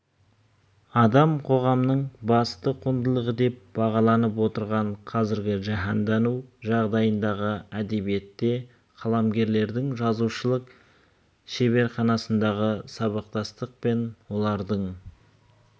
адам-қоғамның басты құндылығы деп бағаланып отырған қазіргі жаһандану жағдайындағы әдебиетте қаламгерлердің жазушылық шеберханасындағы сабақтастық пен олардың